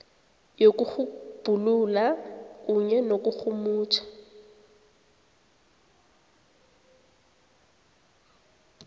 yokutjhugulula kunye nokurhumutjha